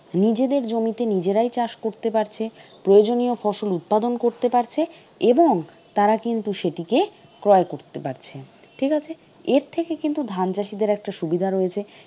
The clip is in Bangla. নিজেদের জমিতে নিজেরাই চাষ করতে পারছে, প্রয়োজনীয় ফসল উৎপাদন করতে পারছে এবং তাঁরা কিন্তু সেটিকে ক্রয় করতে পারছে, ঠিক আছে? এরথেকে কিন্তু ধান চাষীদের একটা সুবিধা রয়েছে।